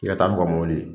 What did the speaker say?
I ka taa n'u ka mɔbili